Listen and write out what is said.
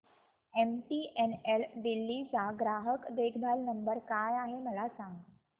MTNL Delhi चा ग्राहक देखभाल नंबर काय आहे मला सांग